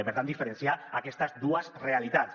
i per tant diferenciar aquestes dues realitats